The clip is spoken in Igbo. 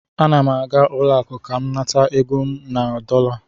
Ana m aga ụlọ akụ ka m nata ego m na dọla